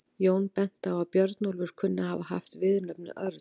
Jón benti á að Björnólfur kunni að hafa haft viðurnefnið örn.